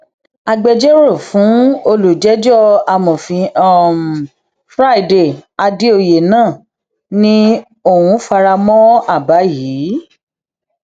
agbẹjọrò fún olùjẹjọ amọfin um friday àdèoyè náà ni òun fara mọ àbá yìí